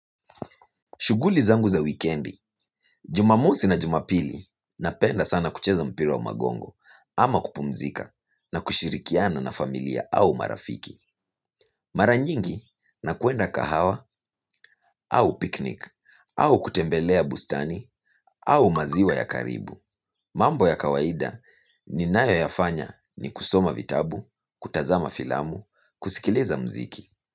Shughuli zangu za wikendi. Jumamosi na Jumapili napenda sana kucheza mpira wa magongo ama kupumzika na kushirikiana na familia au marafiki. Mara nyingi nakwenda kahawa au picnic au kutembelea bustani au maziwa ya karibu. Mambo ya kawaida ninayo yafanya ni kusoma vitabu, kutazama filamu, kusikiliza mziki.